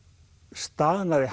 staðnaði